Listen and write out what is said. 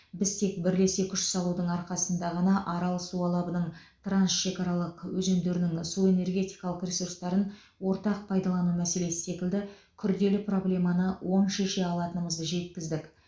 біз тек бірлесе күш салудың арқасында ғана арал су алабының трансшекаралық өзендерінің су энергетикалық ресурстарын ортақ пайдалану мәселесі секілді күрделі проблеманы оң шеше алатынымызды жекіздік